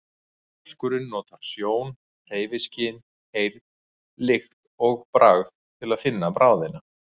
Þorskurinn notar sjón, hreyfiskyn, heyrn, lykt og bragð til að finna bráðina.